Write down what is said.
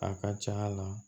A ka ca la